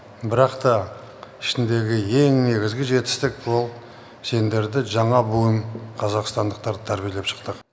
бірақ та ішіндегі ең негізгі жетістік бұл сендерді жаңа буын қазақстандықтарды тәрбиелеп шықтық